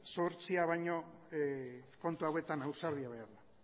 zuhurtzia baino kontu hauetan ausardia behar da